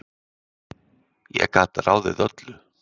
Ég gat ráðið öllu.